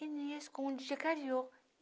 e me escondia